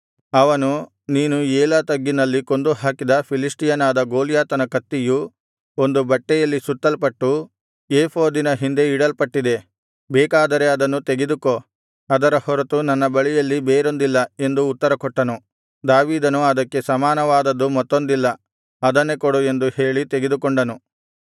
ಅವನು ನೀನು ಏಲಾ ತಗ್ಗಿನಲ್ಲಿ ಕೊಂದು ಹಾಕಿದ ಫಿಲಿಷ್ಟಿಯನಾದ ಗೊಲ್ಯಾತನ ಕತ್ತಿಯು ಒಂದು ಬಟ್ಟೆಯಲ್ಲಿ ಸುತ್ತಲ್ಪಟ್ಟು ಏಫೋದಿನ ಹಿಂದೆ ಇಡಲ್ಪಟ್ಟಿದೆ ಬೇಕಾದರೆ ಅದನ್ನು ತೆಗೆದುಕೊ ಅದರ ಹೊರತು ನನ್ನ ಬಳಿಯಲ್ಲಿ ಬೇರೊಂದಿಲ್ಲ ಎಂದು ಉತ್ತರಕೊಟ್ಟನು ದಾವೀದನು ಅದಕ್ಕೆ ಸಮಾನವಾದದ್ದು ಮತ್ತೊಂದಿಲ್ಲ ಅದನ್ನೇ ಕೊಡು ಎಂದು ಹೇಳಿ ತೆಗೆದುಕೊಂಡನು